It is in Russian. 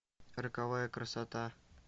роковая красота